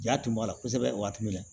Ja tun b'a la kosɛbɛ waati min na